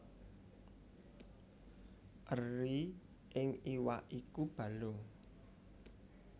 Eri ing iwak iku balung